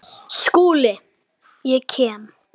SKÚLI: Ég kem.